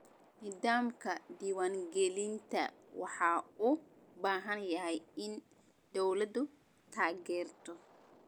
Nidaamka diwaan gelinta waxa uu u baahan yahay in dawladdu taageerto.